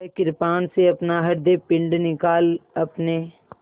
वह कृपाण से अपना हृदयपिंड निकाल अपने